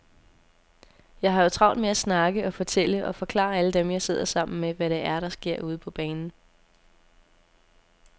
Jeg har jo travlt med at snakke og fortælle og forklare alle dem, jeg sidder sammen med, hvad det er, der sker ude på banen.